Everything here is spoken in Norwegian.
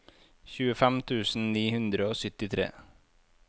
tjuefem tusen ni hundre og syttitre